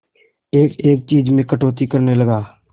एक एक चीज में कटौती करने लगा